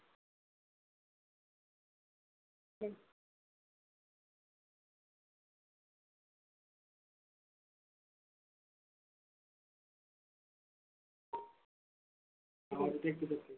हा ठीक आहे ठीक आहे